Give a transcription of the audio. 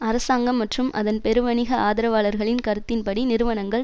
அரசாங்கம் மற்றும் அதன் பெருவணிக ஆதரவாளர்களின் கருத்தின்படி நிறுவனங்கள்